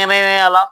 Kɛrɛnkɛrɛnnenya la